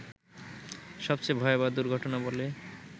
সবচেয়ে ভয়াবহ দুর্ঘটনা বলে